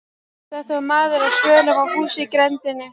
Þetta var maður á svölum á húsi í grenndinni.